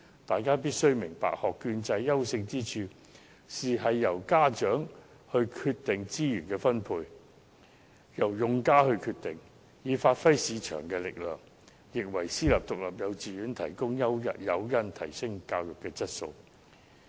大家必須明白，學券制的優勝之處，就是由用家決定資源分配，以發揮市場力量，亦可為私營獨立幼稚園提供誘因，提升教育質素。